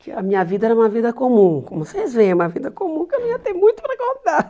que a minha vida era uma vida comum, como vocês veem, é uma vida comum que eu não ia ter muito para contar.